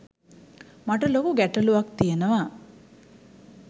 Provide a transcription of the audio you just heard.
මට ලොකු ගැටළුවක් තියනවා